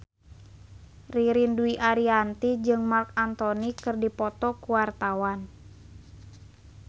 Ririn Dwi Ariyanti jeung Marc Anthony keur dipoto ku wartawan